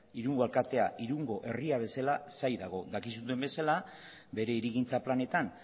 irungo alkatea irungo herria bezala zain dago dakizuen bezala bere hirigintza planetan